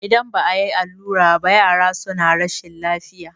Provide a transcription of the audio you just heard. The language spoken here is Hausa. idan ba a yi allura ba yara suna rashin lafiya